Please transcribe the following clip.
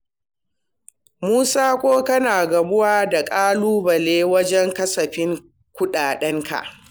Musa ko kana gamuwa da ƙalubale wajen kasafta kuɗaɗen ka?